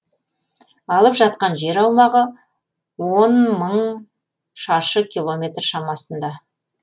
алып жатқан жер аумағы он мың шаршы километр шамасында